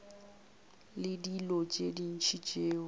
le dilo tše ntši tšeo